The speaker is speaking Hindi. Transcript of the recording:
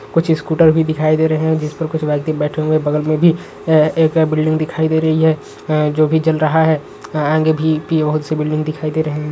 कुछ स्कूटर भी दिखाई दे रहे हैं। जिस पर कुछ व्यक्ति बैठे हुए बगल में भी एक बिल्डिंग दिखाई दे रही है जो भी जल रहा है। आगे भी बहुत सी बिल्डिंग दिखाई दे रहे हैं।